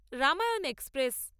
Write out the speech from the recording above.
Ramayana express